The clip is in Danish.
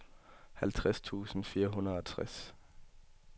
halvtreds tusind fire hundrede og tres